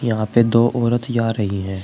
यहां पे दो औरत जा रही है।